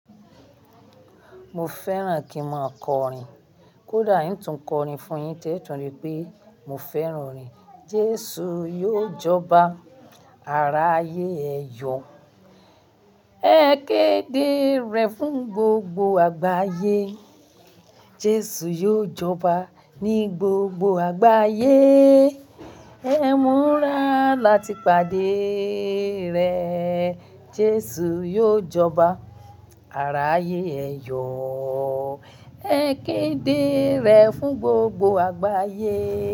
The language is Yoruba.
Mo fẹ́ràn kí n máa kọrin. Kódà ín tún kọrin fún yín tẹ́tún ri pé mo fẹ́ràn orin. Jésù yóò jọba, ara ayé ẹ yọ, ẹ kéde rẹ̀ fún gbogbo àgbáyé. Jésù yóò jọba ní gbogbo àgbáyé, ẹmúra láti pàdé rẹ̀. Jésù yóò jọba, ara ayé ẹ yọ, ẹ kéde rẹ̀ fún gbogbo àgbáyé.